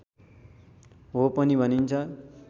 हो पनि भनिन्छ